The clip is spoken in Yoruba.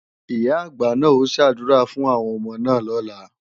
Ìyá-àgbà náà ó ṣàdúrà fún àwọn ọmọ náà lọ́la